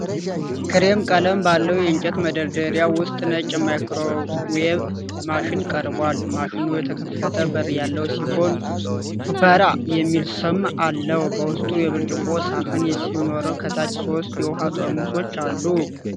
ክሬም ቀለም ባለው የእንጨት መደርደሪያ ውስጥ ነጭ የማይክሮዌቭ ማሽን ቀርቧል፡፡ ማሽኑ የተከፈተ በር ያለው ሲሆን "ሱፕራ" የሚል ስም አለው፡፡ በውስጡ የብርጭቆ ሳህን ሲኖረው ከታች ሶስት የውሃ ጠርሙሶች አሉ፡፡